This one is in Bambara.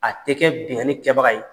A tɛ kɛ binnkannni kɛbabaga ye,